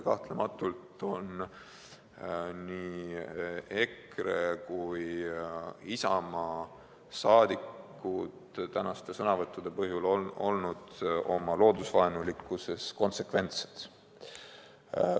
Kahtlematult on nii EKRE kui ka Isamaa liikmed tänaste sõnavõttude põhjal otsustades olnud oma loodusvaenulikkuses konsekventsed.